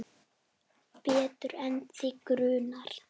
Betur en þig grunar.